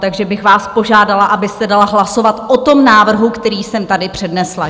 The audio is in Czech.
Takže bych vás požádala, abyste dala hlasovat o tom návrhu, který jsem tady přednesla.